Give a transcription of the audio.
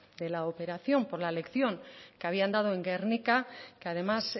de la operación por la lección que habían dado en gernika que además